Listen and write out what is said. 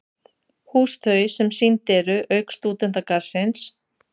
Hús þau, sem sýnd eru- auk Stúdentagarðsins